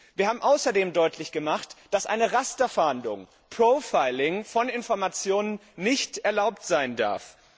Wir haben außerdem deutlich gemacht, dass eine Rasterfahndung, profiling von Informationen nicht erlaubt sein darf.